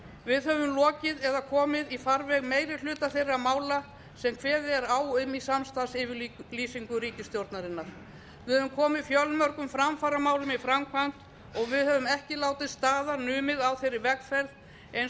við höfum lokið eða komið í farveg meiri hluta þeirra mála sem kveðið er á um í samstarfsyfirlýsingu ríkisstjórnarinnar við höfum komið fjölmörgum framfaramálum í framkvæmd og við höfum ekki látið staðar numið á þeirri vegferð eins og